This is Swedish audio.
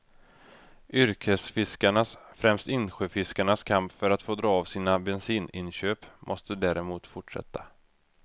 Yrkesfiskarnas, främst insjöfiskarnas, kamp för att få dra av sina bensininköp måste däremot fortsätta.